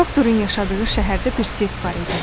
Doktorun yaşadığı şəhərdə bir sirk var idi.